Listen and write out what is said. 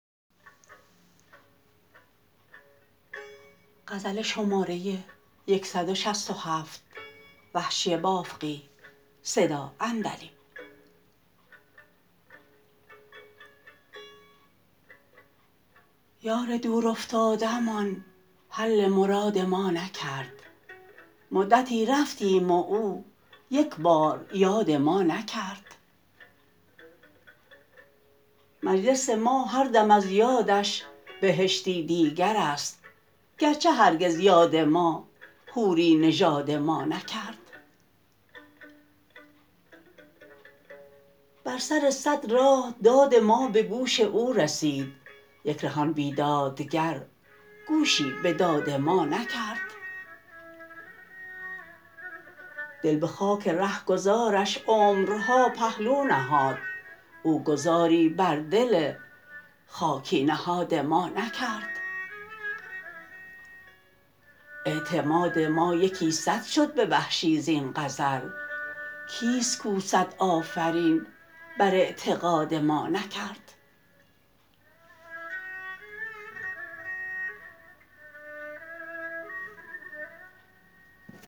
یار دور افتاده مان حل مراد ما نکرد مدتی رفتیم و او یک بار یاد ما نکرد مجلس ما هر دم از یادش بهشتی دیگر است گرچه هرگز یاد ما حوری نژاد ما نکرد بر سر سد راه داد ما به گوش او رسید یک ره آن بیداد گر گوشی به داد ما نکرد دل به خاک رهگذارش عمرها پهلو نهاد او گذاری بر دل خاکی نهاد ما نکرد اعتماد ما یکی سد شد به وحشی زین غزل کیست کو سد آفرین بر اعتقاد ما نکرد